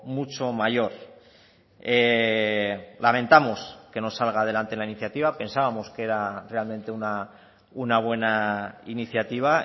mucho mayor lamentamos que no salga adelante la iniciativa pensábamos que era realmente una buena iniciativa